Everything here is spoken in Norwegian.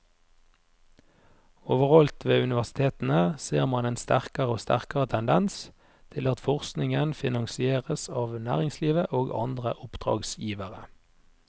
Overalt ved universitetene ser man en sterkere og sterkere tendens til at forskningen finansieres av næringslivet og andre oppdragsgivere.